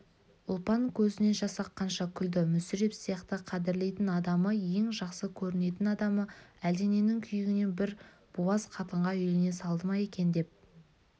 ұлпан көзінен жас аққанша күлді мүсіреп сияқты қадірлейтін адамы ең жақсы көретін адамы әлдененің күйігінен бір буаз қатынға үйлене салды ма екен деп